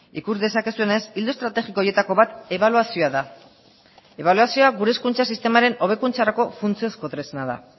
ikus dezakezuenez ildo estrategiko horietako bat ebaluazioa da ebaluazioa gure hezkuntza sistemaren hobekuntzarako funtsezko tresna da